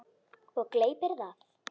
Og gleypir það.